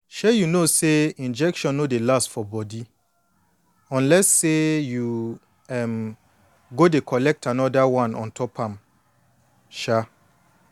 shay you sabi say injection no dey last for body unless say you um go dey collect anoda one ontop am um